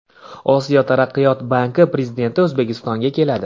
Osiyo taraqqiyot banki prezidenti O‘zbekistonga keladi.